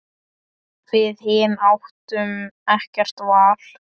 Við hin áttum ekkert val.